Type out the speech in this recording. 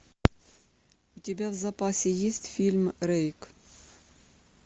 у тебя в запасе есть фильм рейк